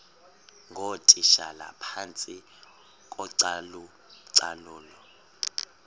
ngootitshala phantsi kocalucalulo